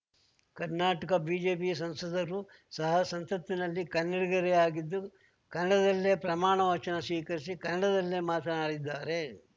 Karnataka BJP ಸಂಸದರೂ ಸಹ ಸಂಸತ್ತಿನಲ್ಲಿ ಕನ್ನಡಿಗರೇ ಆಗಿದ್ದು ಕನ್ನಡದಲ್ಲೇ ಪ್ರಮಾಣ ವಚನ ಸ್ವೀಕರಿಸಿ ಕನ್ನಡದಲ್ಲೇ ಮಾತನಾಡಿದ್ದಾರೆ